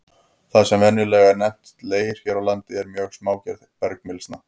Það sem venjulega er nefnt leir hér á landi er mjög smágerð bergmylsna.